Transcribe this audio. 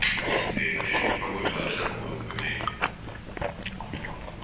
мои сыновья и дочери не трогают хагрида по моему повелению